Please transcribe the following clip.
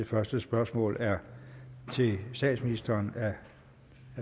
første spørgsmål er til statsministeren fra